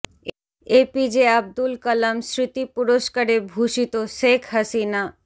এ P J Abdul Kalam স্মৃতি পুরস্কারে ভূষিত শেখ হাসিনা